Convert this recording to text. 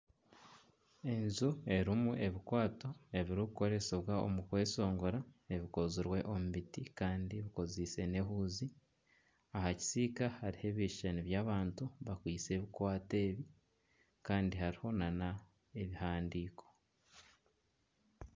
Enju erimu ebikwaato ebirikukoresibwa omu kweshongora ebikozirwe omu biti kandi ebikozise n'ehuuzi aha kisiika hariho ebishushani by'abantu bakwaitse ebikwaato ebi kandi hariho na n'ebihandiiko.